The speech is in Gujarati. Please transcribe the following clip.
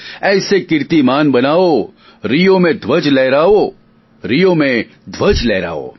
ઐસે કિર્તીમાન બનાઓ રિયો મેં ધ્વજ લહરાઓ રિયો મેં ધ્વજ લહરાઓ